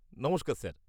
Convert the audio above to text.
নমস্কার স্যার।